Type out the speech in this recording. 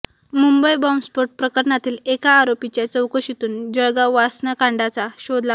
मुंबई बॉम्बस्फोट प्रकरणातील एका आरोपीच्या चौकशीतून जळगाव वासनाकांडाचा शोध लागला